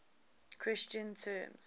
christian terms